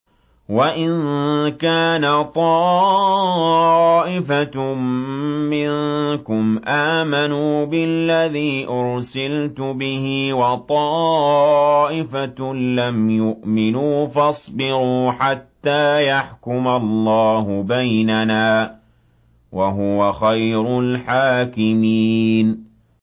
وَإِن كَانَ طَائِفَةٌ مِّنكُمْ آمَنُوا بِالَّذِي أُرْسِلْتُ بِهِ وَطَائِفَةٌ لَّمْ يُؤْمِنُوا فَاصْبِرُوا حَتَّىٰ يَحْكُمَ اللَّهُ بَيْنَنَا ۚ وَهُوَ خَيْرُ الْحَاكِمِينَ